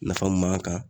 Nafa mun b'an kan